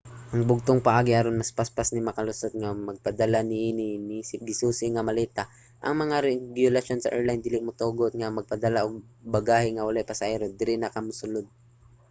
ang bugtong paagi aron mas paspas ni makalusot mao nag pagpadala niini isip gisusi nga maleta. ang mga regulasyon sa airline dili motugot nga magpadala og bagahe nga walay pasahero diri na ka mosulod